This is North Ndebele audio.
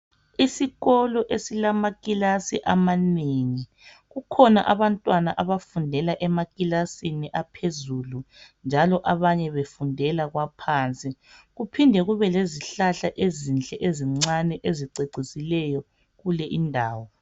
Isikolo esilamakilasi amanengi, kukhona abantwana abafundela emakilasini aphezulu njalo abanye befundela kwaphansi kuphinde kube lezihlahla ezinhle ezincane ezicecisileyo kuleyi indawo.